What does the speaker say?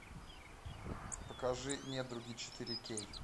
покажи недруги четыре кей